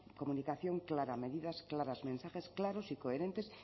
comunicación clara medidas claras mensajes claros y coherentes